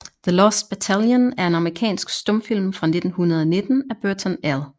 The Lost Battalion er en amerikansk stumfilm fra 1919 af Burton L